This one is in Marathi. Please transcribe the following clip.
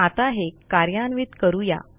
आता हे कार्यान्वित करू या